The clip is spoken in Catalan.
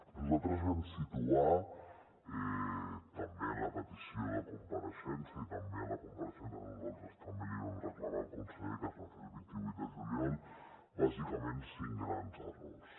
nosaltres vam situar també en la petició de compareixença i també en la compareixença que nosaltres també li vam reclamar al conseller que es va fer el vint vuit de juliol bàsicament cinc grans errors